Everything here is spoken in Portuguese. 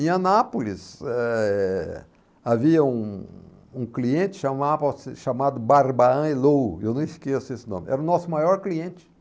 Em Anápolis, eh, havia um um cliente chamava-se chamado, eu não esqueço esse nome, era o nosso maior cliente.